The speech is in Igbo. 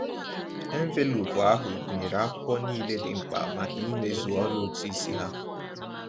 Enveloopu ahụ gụnyere akwụkwọ niile dị mkpa maka ịmezu ọrụ ụtụisi ha.